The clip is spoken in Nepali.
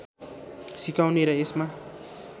सिकाउने र यसमा